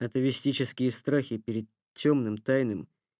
это мистические страхи перед тёмным тайным